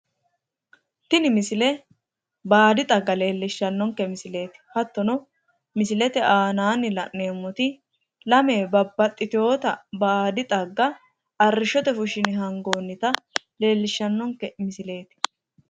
tini misile baadi xagga leellishshannonke misileeti hattono misilte aanaanni la'neemmoti lame babaxitewoota baadi xagga arrishshote fushshine hangoonnita leellishshannonke misileeti.